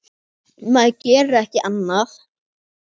Maður gerir ekki annað!